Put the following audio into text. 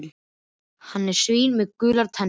Hann er svín með gular tennur.